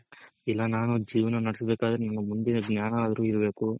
ಇಲ್ಲ ನಾನ್ ಒಂದ್ ಜೀವನ ನೆಡೆಸೋದಕ್ ಆದ್ರೆ ನಿಮ್ಮ ಮುಂದಿನ ಜ್ಞಾನ ಆದ್ರು ಇರ್ಬೇಕು.